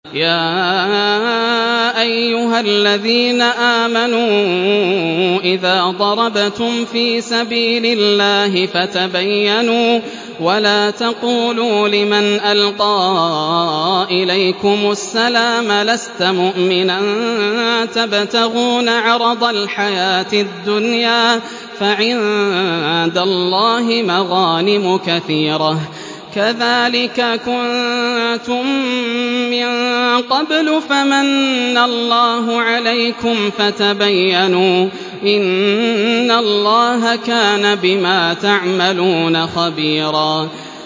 يَا أَيُّهَا الَّذِينَ آمَنُوا إِذَا ضَرَبْتُمْ فِي سَبِيلِ اللَّهِ فَتَبَيَّنُوا وَلَا تَقُولُوا لِمَنْ أَلْقَىٰ إِلَيْكُمُ السَّلَامَ لَسْتَ مُؤْمِنًا تَبْتَغُونَ عَرَضَ الْحَيَاةِ الدُّنْيَا فَعِندَ اللَّهِ مَغَانِمُ كَثِيرَةٌ ۚ كَذَٰلِكَ كُنتُم مِّن قَبْلُ فَمَنَّ اللَّهُ عَلَيْكُمْ فَتَبَيَّنُوا ۚ إِنَّ اللَّهَ كَانَ بِمَا تَعْمَلُونَ خَبِيرًا